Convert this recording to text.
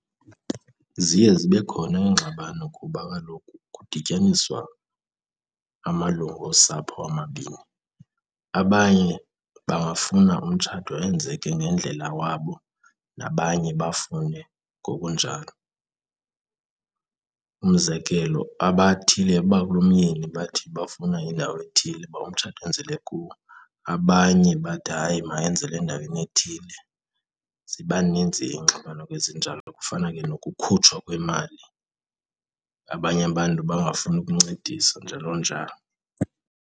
Ziye zibe khona iingxabano kuba kaloku kudityaniswa amalungu osapho amabini. Abanye bangafuna umtshato enzeke ngendlela wabo nabanye bafune ngokunjalo. Umzekelo, abathile abakulomyeni bathi bafuna indawo ethile uba umtshato wenzelwe kuwo abanye bathi hayi mayenzelwe endaweni ethile. Ziba ninzi iingxabano ke ezinjalo, kufana ke nokukhutshwa kwemali, abanye abantu bangafuni ukuncedisa, njalo njalo.